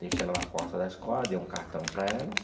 Deixei ela na porta da escola, dei um cartão para ela.